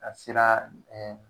A t si naa